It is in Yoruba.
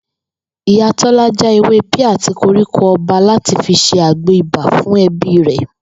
Ìyá Tó̩lá já ewé píà àti koríko o̩ba láti fi se agbò ibà fún e̩bí rè̩